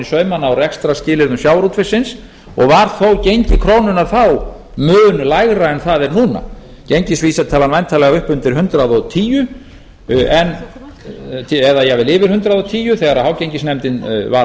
saumana á rekstrarskilyrðum sjávarútvegsins og var þó gengi krónunnar þá mun lægra en það er núna gengisvísitalan væntanlega upp undir hundrað og tíu eða jafnvel yfir hundrað og tíu þegar hágengisnefndin var að